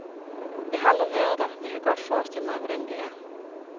Jeg har aldrig været der, men jeg kan godt forestille mig, hvordan det er.